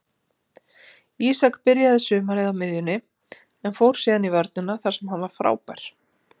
Ísak byrjaði sumarið á miðjunni en fór síðan í vörnina þar sem hann var frábær.